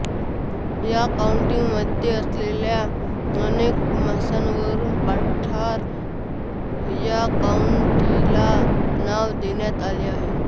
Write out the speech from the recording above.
या काउंटीमध्ये असलेल्या अनेक मेसांवरुन पठार या काउंटीला नाव देण्यात आले आहे